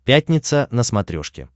пятница на смотрешке